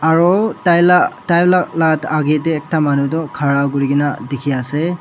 aro taila taila la agay dae ekta manu toh khara kurikaena dikhiase.